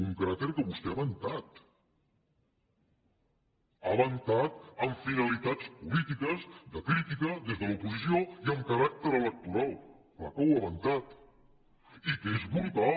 un cràter que vostè ha ventat ha ventat amb finalitats polítiques de crítica des de l’oposició i amb caràcter electoral clar que ho ha ventat i que és brutal